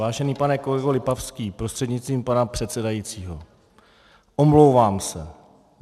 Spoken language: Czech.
Vážený pane kolego Lipavský, prostřednictvím pana předsedajícího, omlouvám se.